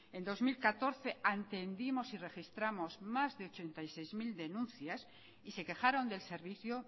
el dos mil catorce atendimos y registramos más de ochenta y seis mil denuncias y se quejaron del servicio